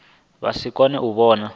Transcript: vha si kone u vhona